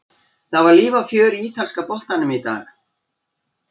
Það var líf og fjör í ítalska boltanum í dag.